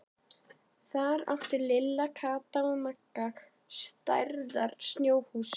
Þar áttu Lilla, Kata og Magga stærðar snjóhús.